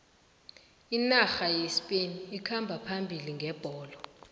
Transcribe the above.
inarha yespain ikhamba phambili ngebholo